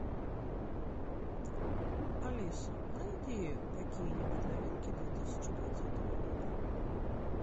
алиса найди какие нибудь новинки две тысячи двадцатого года